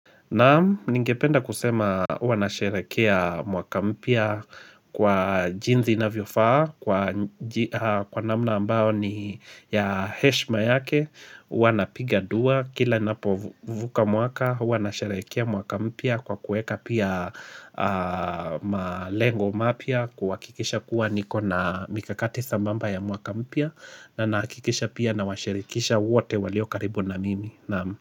Naam, ningependa kusema huwa nasherehekea mwaka mpya kwa jinsi inavyofaa, kwa namna ambao ni ya heshima yake, huwa napiga dua, kila ninapovuka mwaka, huwa nasherehekea mwaka mpya kwa kueka pia malengo mapya, kuhakikisha kuwa niko na mikakati sambamba ya mwaka mpya, na nahakikisha pia nawashirikisha wote walio karibu na mimi.